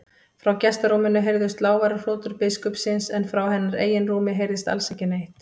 Frá gestarúminu heyrðust lágværar hrotur biskupsins en frá hennar eigin rúmi heyrðist alls ekki neitt.